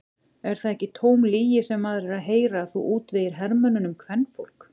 Er það ekki tóm lygi sem maður er að heyra að þú útvegir hermönnunum kvenfólk?